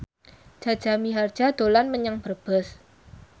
Jaja Mihardja dolan menyang Brebes